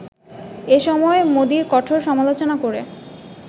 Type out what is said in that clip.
এসময় মোদির কঠোর সমালোচনা করে